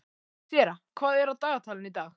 Sera, hvað er á dagatalinu í dag?